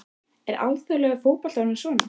Er alþjóðlegur fótbolti orðinn svona?